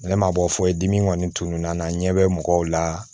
Ne ma bɔ foyi dimi kɔni tununa n na n ɲɛ bɛ mɔgɔw la